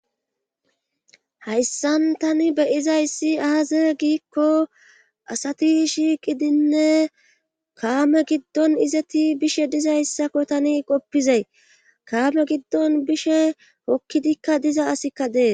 hayssan tani be'izayssi aaze giikko asati shiiqidinne kaame giddon izeti bishe dizayssakko tani qoppizay kaame giddon bishe hokkidikka diza asikka dee